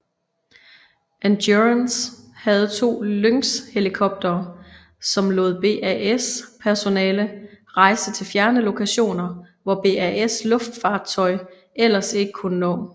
Endurance havde to Lynxhelikoptere som lod BAS personale rejse til fjerne lokationer hvor BAS luftfartøj ellers ikke kunne nå